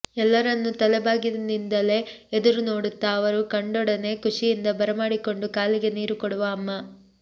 ಎಲ್ಲರನ್ನು ತಲೆಬಾಗಿಲಿನಿಂದಲೇ ಎದುರು ನೋಡುತ್ತ ಅವರು ಕಂಡೊಡನೆ ಖುಶಿಯಿಂದ ಬರಮಾಡಿಕೊಂಡು ಕಾಲಿಗೆ ನೀರು ಕೊಡುವ ಅಮ್ಮ